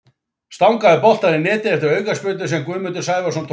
Stangaði boltann í netið eftir aukaspyrnu sem Guðmundur Sævarsson tók.